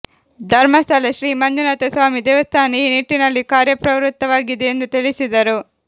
ಧರ್ಮಸ್ಥಳ ಶ್ರೀ ಮಂಜುನಾಥ ಸ್ವಾಮಿ ದೇವಸ್ಥಾನ ಈ ನಿಟ್ಟಿನಲ್ಲಿ ಕಾರ್ಯಪ್ರವೃತ್ತವಾಗಿದೆ ಎಂದು ತಿಳಿಸಿದರು